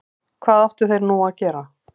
Hvað áttu þeir nú að gera?